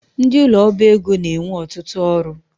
Ndị ụlọ ọba ego na-enwe ọtụtụ ọrụ